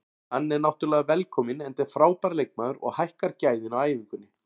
Hann er náttúrulega velkominn enda frábær leikmaður og hækkar gæðin á æfingunni.